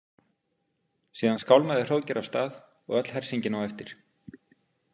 Síðan skálmaði Hróðgeir af stað og öll hersingin á eftir.